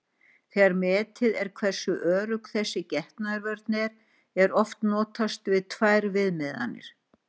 Þegar metið er hversu örugg þessi getnaðarvörn er, er oft notast við tvær viðmiðanir.